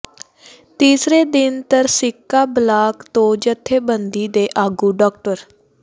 ਤੀਸਰੇ ਦਿਨ ਤਰਸਿੱਕਾ ਬਲਾਕ ਤੋਂ ਜਥੇਬੰਦੀ ਦੇ ਆਗੂ ਡਾ